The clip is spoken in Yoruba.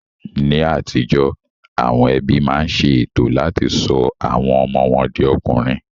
Ní àtijó, àwọn ẹbí máa ń ṣe ètò láti sọ àwọn ọmọ wọn di ọkùnrin